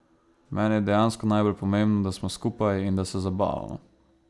Meni je dejansko najbolj pomembno, da smo skupaj in da se zabavamo.